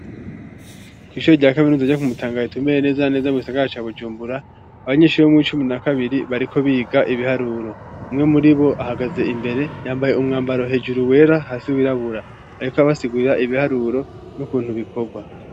Kw'ishure rya kaminuza ryo ku mutanga neza na neza mugisagara ca bujumbura abanyeshure bo muwicumi na kabiri bariko biga ibiharuro umwe muri bo ahagaze imbere yambaye umwambaro hejuru wera hasi wirabura ariko abasigurira ibiharuro n'ukuntu bikorwa.